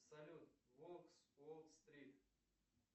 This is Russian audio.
салют волк с уолл стрит